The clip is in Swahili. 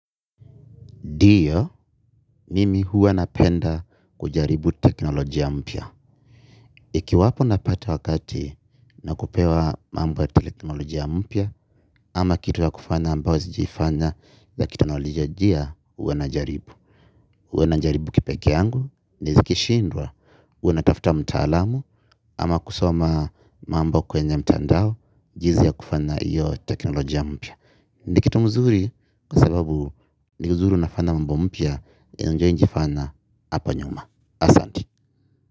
Ndiyo, nimi huwa napenda kujaribu teknolojia mpya. Ikiwapo napata wakati nakupewa mambo ya teknolojia mpya ama kitu ya kufanya ambayo sijaifanya za kiteknolojia huwa najaribu. Huwa najaribu kipeke yangu nikishindwa huwa natafuta mtaalamu ama kusoma mambo kwenye mtandao jinsi ya kufanya hiyo teknolojia mpya. Ni kitu mzuri kwa sababu ni kuzuri unafanya mambo mpya yenye hujawahizifanya hapa nyuma. Asante.